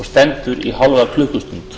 stendur í hálfa klukkustund